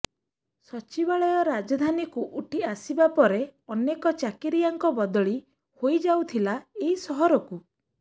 ସଚିବାଳୟ ରାଜଧାନୀକୁ ଉଠି ଆସିବା ପରେ ଅନେକ ଚାକିରିଆଙ୍କ ବଦଳି ହୋଇଯାଇଥିଲା ଏଇ ସହରକୁ